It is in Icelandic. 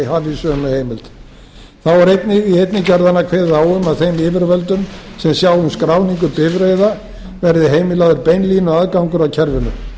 hafi sömu heimild þá er einnig í einni gerðanna kveðið á um að þeim yfirvöldum sem sjá um skráningu bifreiða verði heimilaður beinlínuaðgangur að kerfinu